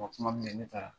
kuma min bɛ ye ne taara